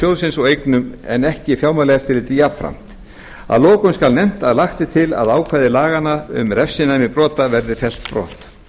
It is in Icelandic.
sjóðsins og eignum en ekki fjármálaeftirlitið jafnframt að lokum skal nefnt að lagt er til að ákvæði laganna um refsinæmi brota verði fellt brott í